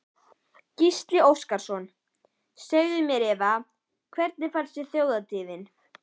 Gísli Óskarsson: Segðu mér Eva, hvernig fannst þér Þjóðhátíðin?